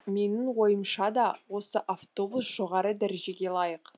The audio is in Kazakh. менің ойымшада осы автобус жоғары дәрежеге лайық